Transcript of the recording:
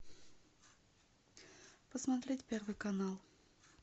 посмотреть первый канал